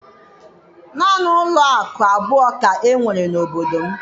Naanị ụlọakụ abụọ ka e nwere n'obodo m.